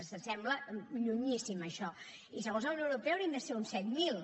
home sembla llunyíssim això i segons la unió europea haurien de ser uns set mil